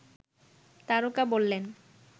তারকা বললেন